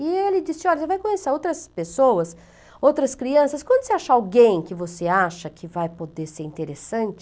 E ele disse, olha, você vai conhecer outras pessoas, outras crianças, quando você acha alguém que você acha que vai poder ser interessante...